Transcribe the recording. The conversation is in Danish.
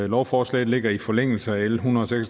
lovforslaget ligger i forlængelse af l en hundrede